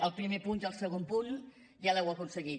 el primer punt i el segon punt ja els heu aconseguit